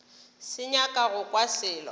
sa nyaka go kwa selo